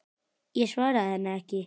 Ég svaraði henni ekki.